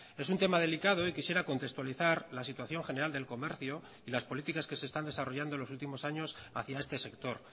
es un tema delicado y quisiera contextualizar la situación general del comercio y las políticas que se están desarrollando en los últimos años hacia este sector